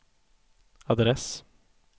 adress